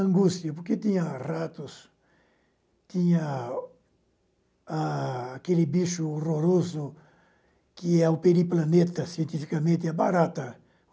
Angústia, porque tinha ratos, tinha aquele bicho horroroso, que é o periplaneta, cientificamente, a barata.